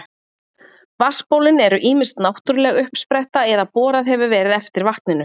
Vatnsbólin eru ýmist náttúruleg uppspretta eða borað hefur verið eftir vatninu.